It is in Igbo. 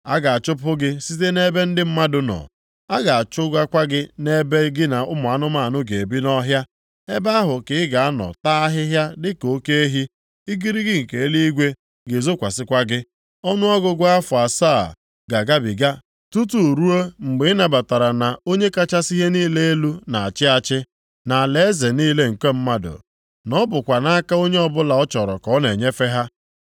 A ga-achụpụ gị site nʼebe ndị mmadụ nọ. A ga-achụgakwa gị nʼebe gị na ụmụ anụmanụ ga-ebi nʼọhịa, Ebe ahụ ka ị ga-anọ taa ahịhịa dịka oke ehi, igirigi nke eluigwe ga-ezokwasịkwa gị. Ọnụọgụgụ afọ asaa ga-agabiga tutu ruo mgbe ị nabatara na Onye kachasị ihe niile elu na-achị achị nʼalaeze niile nke mmadụ, na ọ bụkwa nʼaka onye ọbụla ọ chọrọ ka ọ na-enyefe ha.